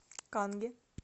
канге